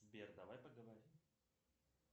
сбер давай поговорим